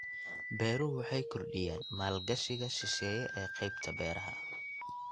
Beeruhu waxay kordhiyaan maalgashiga shisheeye ee qaybta beeraha.